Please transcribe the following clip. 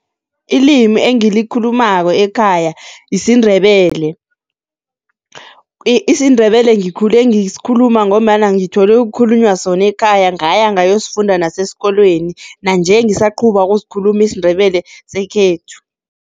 Ilimi engilikhulumako ekhaya yisiNdebele. IsiNdebele ngikhule ngisikhuluma ngombana ngithole kukhulunywa sona ekhaya ngaya ngayosifunda nasesikolweni nanje, ngisaquba ukusikhuluma isiNdebele sekhethu.